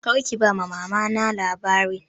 Kar ki ba Mama na labarin!